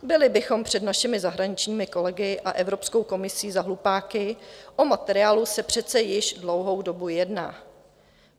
Byli bychom před našimi zahraničními kolegy a Evropskou komisí za hlupáky, o materiálu se přece již dlouhou dobu jedná.